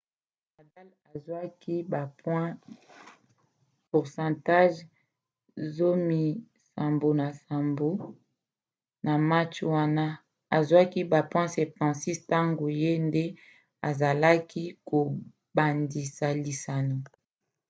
nadal azwaki ba point 88% na match wana azwaki ba point 76 ntango ye nde azalaki kobandisa lisano